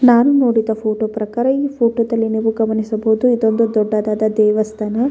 ನಾನು ನೋಡಿದ ಫೋಟೋ ಪ್ರಕಾರ ಈ ಫೋಟೋದಲ್ಲಿ ನೀವು ಗಮನಿಸಬಹುದು ಇದೊಂದು ದೊಡ್ಡದಾದ ದೇವಸ್ಥಾನ.